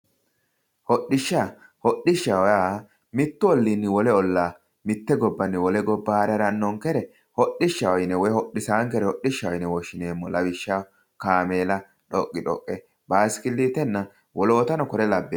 hodhishsha hodhishshaho yaa mittu olliinni wole ollaa mitte gobbanni wole gobba haare harannonkere hodhishshaho yine woy hodhisaankere hodhishshaho yineemmo lawishshaho ,kaameela, dhoqqi dhoqqe, bayiisikilitenna wolootano kuriu labbinoreeti.